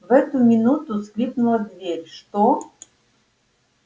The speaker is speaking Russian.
в эту минуту скрипнула дверь что